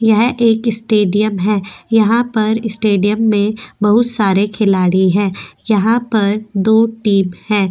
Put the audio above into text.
यह एक स्टेडियम है यहां पर स्टेडियम में बहुत सारे खिलाड़ी हैं यहां पर दो टीम है।